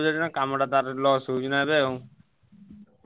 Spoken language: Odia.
ବୁଝିପାରୁଛ ନାଁ କାମ ଟା ତାର କାମ loss ହଉଛି ନା ଏବେ ଆଉ ।